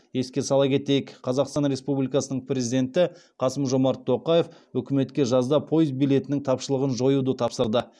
еске сала кетейік қазақстан республикасының президенті қасым жомарт тоқаев үкіметке жазда пойыз билетінің тапшылығын жоюды тапсырды